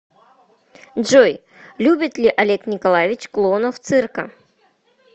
джой любит ли олег николаевич клоунов цирка